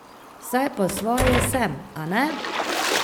Saj po svoje sem, a ne?